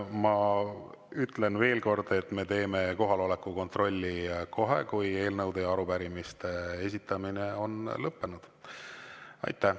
Ma ütlen veel kord, et me teeme kohaloleku kontrolli kohe, kui eelnõude ja arupärimiste esitamine on lõppenud.